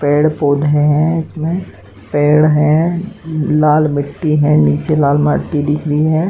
पेड़ पौधे हैं इसमें। पेड़ हैं। लाल मिट्टी है। नीचे लाल माटी दिख रही है।